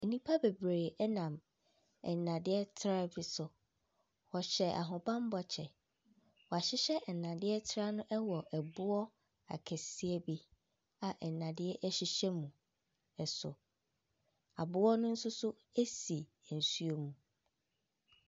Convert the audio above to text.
Nnipa bebree nam nnadeɛ traa bi so. Wɔhyɛ ahobammɔ kyɛ. Wahyehyɛ nnadeɛ traa no wɔ boa akɛseɛ bi a nnadeɛ hyehyɛ mu so. Aboɔ no nso so si nsuom.